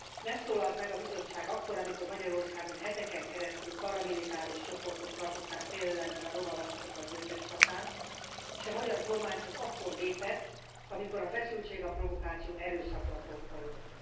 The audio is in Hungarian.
Nem szólalt meg a Bizottság akkor, amikor Magyarországon heteken keresztül paramilitáris csoportok tartották félelemben a roma lakosokat Gyöngyöspatán, és a magyar kormány csak akkor lépett, amikor a feszültség, a provokáció erőszakba torkollott.